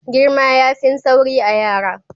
Girma yafin sauri a'yara.